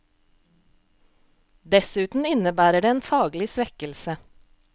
Dessuten innebærer det en faglig svekkelse.